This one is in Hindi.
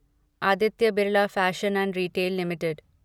Aditya Birla fashion and retail limited